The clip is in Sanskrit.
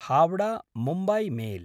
हावडा–मुम्बय् मेल्